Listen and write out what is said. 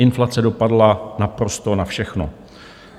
Inflace dopadla naprosto na všechno.